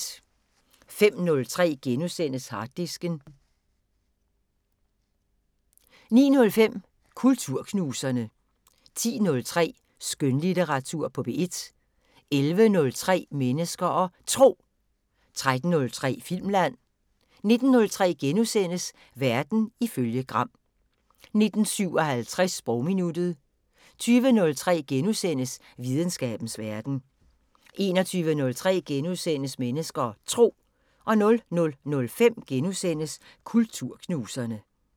05:03: Harddisken * 09:05: Kulturknuserne 10:03: Skønlitteratur på P1 11:03: Mennesker og Tro 13:03: Filmland 19:03: Verden ifølge Gram * 19:57: Sprogminuttet 20:03: Videnskabens Verden * 21:03: Mennesker og Tro * 00:05: Kulturknuserne *